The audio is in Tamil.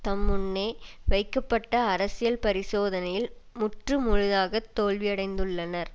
தம் முன்னே வைக்கப்பட்ட அரசியல் பரிசோதனையில் முற்று முழுதாக தோல்வியடைந்துள்ளனர்